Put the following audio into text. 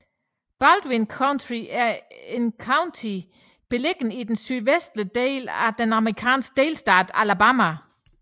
Baldwin County er et county beliggende i den sydvestlige del af den amerikanske delstat Alabama